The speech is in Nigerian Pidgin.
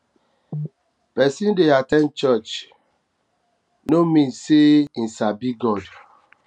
persin de at ten d church no church no mean say him sabi god